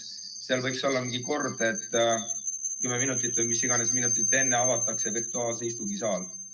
Kas võiks olla mingi kord, et kümme minutit või mis iganes minutit enne avatakse virtuaalse istungi saal?